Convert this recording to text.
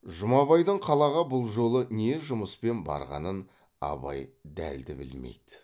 жұмабайдың қалаға бұл жолы не жұмыспен барғанын абай дәлді білмейді